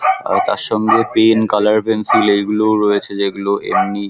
আর তার সঙ্গে pen colour pencil এগুলোও রয়েছে যেগুলো এমনি --